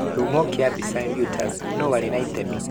Kĩhumo kĩa mbica, Reuters. Nũũ warĩ na itemi?